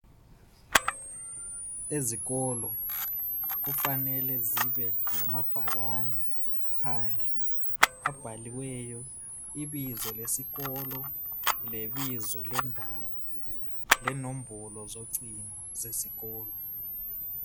Izikolo kumele zibe lamabhakane phandle abhaliweyo ibizo lesikolo lebizo lendawo, lenombolo zocingo zesikolo.